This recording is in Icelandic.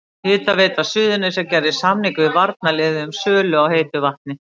Hitaveita Suðurnesja gerði samning við varnarliðið um sölu á heitu vatni.